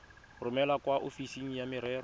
romele kwa ofising ya merero